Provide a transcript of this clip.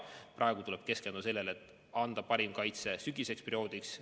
Praegu tuleb keskenduda sellele, et anda parim kaitse sügiseseks perioodiks.